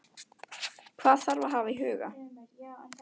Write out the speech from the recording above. Hvað þarf að hafa í huga?